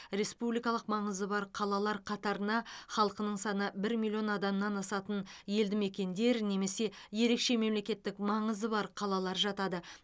республикалық маңызы бар қалалар қатарына халқының саны бір миллион адамнан асатын елді мекендер немесе ерекше мемлекеттік маңызы бар қалалар жатады